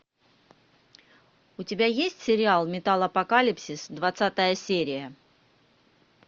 у тебя есть сериал металлопокалипсис двадцатая серия